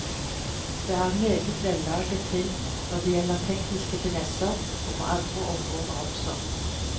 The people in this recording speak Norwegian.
Det er en meget vellaget film når det gjelder tekniske finesser, og på andre områder også.